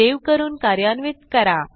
save करून कार्यान्वित करा